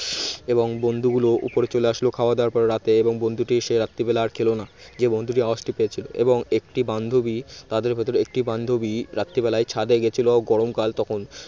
এবং বন্ধুগুলো উপরে চলে আসলো খাওয়া দাওয়ার পরে রাতে এবং বন্ধুটি সে রাত্রিবেলা আর খেলো না যে বন্ধুটি সেই আওয়াজটি পেয়েছিল এবং একটি বান্ধবী তাদের ভেতরে একটি বান্ধবী রাত্রিবেলায় ছাদে গিয়েছিল গরমকাল তখন